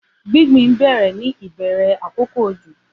Gbingbin bẹrẹ ni ibẹrẹ ti akoko ojo